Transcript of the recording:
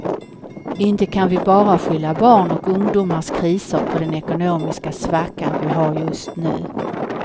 Inte kan vi bara skylla barn och ungdomars kriser på den ekonomiska svackan vi har just nu.